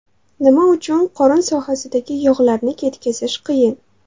Nima uchun qorin sohasidagi yog‘larni ketkazish qiyin?.